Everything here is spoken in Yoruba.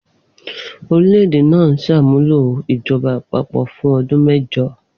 Orílẹ̀-èdè náà ṣàmúlò ìjọba àpapọ̀ fún ọdún mẹ́jọ.